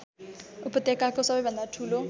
उपत्यकाको सबैभन्दा ठुलो